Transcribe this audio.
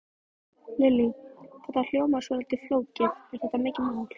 Lillý: Þetta hljómar svolítið flókið, er þetta mikið mál?